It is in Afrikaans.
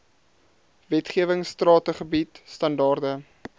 wetgewing strategied standaarde